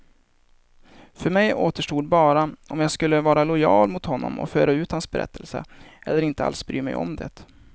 För mig återstod bara om jag skulle vara lojal mot honom och föra ut hans berättelse, eller inte alls bry mig om det.